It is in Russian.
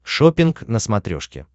шоппинг на смотрешке